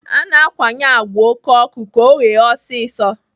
A na-akwanye àgwà oké ọkụ ka ọ ghee ọsịsọ.